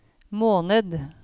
måned